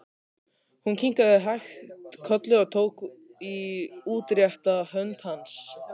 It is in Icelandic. Hún kinkaði hægt kolli og tók í útrétta hönd hans.